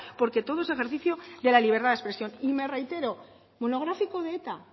porque todo es ejercicio de la libertad de expresión y me reitero monográfico de eta